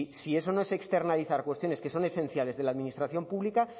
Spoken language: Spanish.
si eso no es externalizar cuestiones que son esenciales de la administración pública